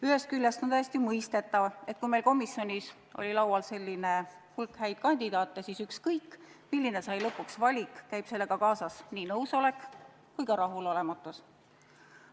Ühest küljest on täiesti mõistetav, et kui meil komisjonis oli laual selline hulk häid kandidaate, siis ükskõik, milline see valik lõpuks saab, käib sellega kaasas nii nõusolek kui ka rahulolematus.